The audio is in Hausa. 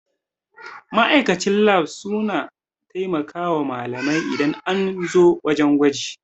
Ma'aikatan lab suna taimakawa malamai idan an zo wajan gwaji